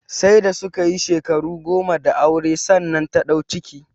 Sai da su ka yi shekaru goma da aure sannan ta ɗau ciki